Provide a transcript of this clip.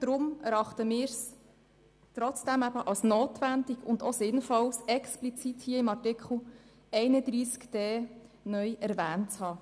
Deshalb erachten wir es trotzdem als notwendig und sinnvoll, dieser explizit in Artikel 31d (neu) zu erwähnen.